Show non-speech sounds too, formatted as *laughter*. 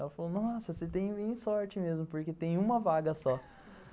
Ela falou, nossa, você tem sorte mesmo, porque tem uma vaga só *laughs*